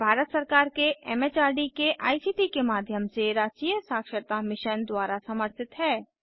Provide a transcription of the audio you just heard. यह भारत सरकार के एमएचआरडी के आईसीटी के माध्यम से राष्ट्रीय साक्षरता मिशन पर आधारित है